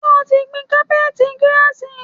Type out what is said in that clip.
Ṣé o ti gbìn cápẹ́t girasì?